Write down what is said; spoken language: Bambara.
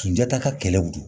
Jata ka kɛlɛ